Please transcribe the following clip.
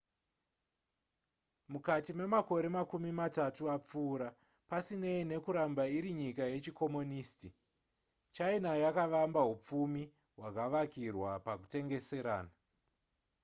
mukati memakore makumi matatu apfuura pasinei nekuramba iri nyika yechikomonisiti china yakavamba hupfumi hwakavakirwa pakutengeserana